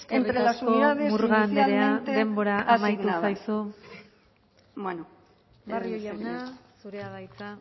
entre las unidades eskerrik asko murga anderea denbora amaitu zaizu barrio jauna zurea da hitza